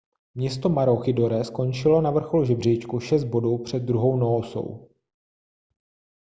město maroochydore skončilo na vrcholu žebříčku šest bodů před druhou noosou